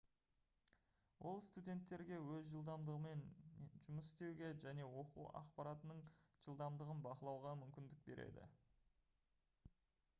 ол студенттерге өз жылдамдығымен жұмыс істеуге және оқу ақпаратының жылдамдығын бақылауға мүмкіндік береді